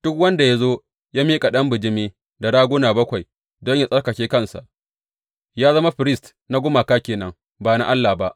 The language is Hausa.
Duk wanda ya zo ya miƙa ɗan bijimi da raguna bakwai don yă tsarkake kansa, ya zama firist na gumaka ke nan, ba na Allah ba.